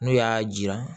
N'u y'a jira